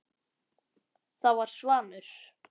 Það var Svanur.